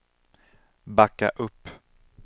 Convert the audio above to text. backa upp